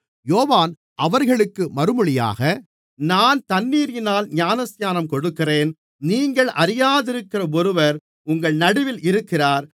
யோவான் அவர்களுக்கு மறுமொழியாக நான் தண்ணீரினால் ஞானஸ்நானம் கொடுக்கிறேன் நீங்கள் அறியாதிருக்கிற ஒருவர் உங்கள் நடுவிலே இருக்கிறார்